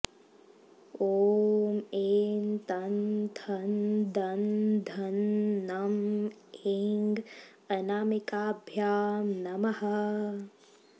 ॐ एं तं थं दं धं नं ऐं अनामिकाभ्यां नमः